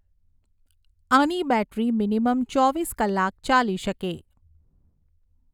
આની battery minimum ચોવીસ કલાક ચાલી શકે